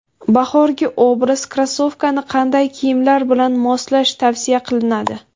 Bahorgi obraz: Krossovkani qanday kiyimlar bilan moslash tavsiya qilinadi?.